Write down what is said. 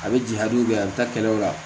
A bɛ jigin hali bi a bɛ taa kɛlɛw la